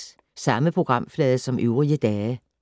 Samme programflade som øvrige dage